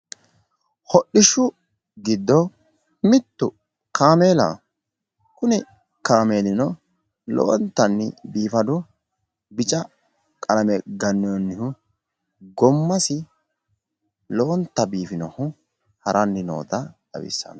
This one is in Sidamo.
hodhishshu giddo mittu kaameelaho, kuni kaameelino lowontanni biifado bica qalame gannoonihu gommasi lowonta biifinohu haranni noota xawissanno.